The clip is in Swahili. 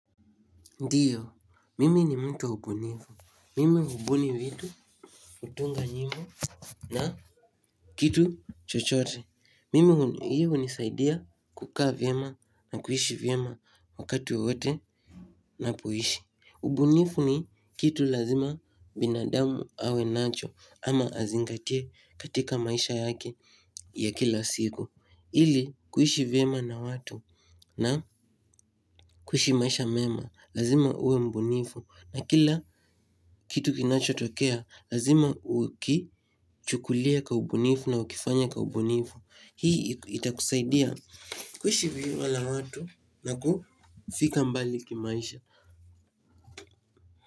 Ndiyo, mimi ni mtu wa ubunifu, mimi hubuni vitu, hutunga nyimbo na kitu chochote, mimi hii hunisaidia kukaa vyema na kuishi vyema wakati wowote ninapoishi ubunifu ni kitu lazima binadamu awe nacho ama azingatie katika maisha yake ya kila siku, ili kuishi vyema na watu na kuishi maisha mema, lazima uwe mbunifu. Na kila kitu kinachotokea, lazima ukichukulie kwa ubunifu na ukifanye kwa ubunifu. Hii itakusaidia kuishi na watu na kufika mbali kimaisha.